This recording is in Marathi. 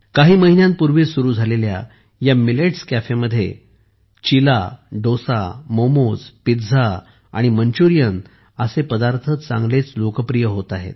काही महिन्यांपूर्वी सुरू झालेल्या या मिलेट्स कॅफेमध्ये चिला डोसा मोमोज पिझ्झा आणि मंचुरियन असे पदार्थ चांगलेच लोकप्रिय होत आहेत